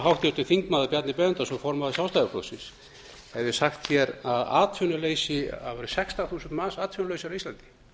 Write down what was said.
háttvirtur þingmaður bjarni benediktsson formaður sjálfstæðisflokksins hefði sagt að um sextán þúsund manns væru atvinnulausir á íslandi